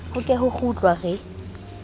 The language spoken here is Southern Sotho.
ho ke ho kgutlwa re